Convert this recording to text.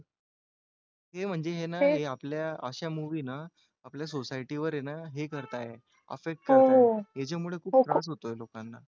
हे म्हणजे हे ना आपल्या अशा movie ना आपल्या society वर आहे ना हे करताय affect करताय हो हो त्याच्यामुळे खूप त्रास होत आहे लोकांना